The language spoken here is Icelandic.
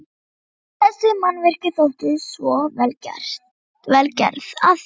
Þessi mannvirki þóttu svo vel gerð, að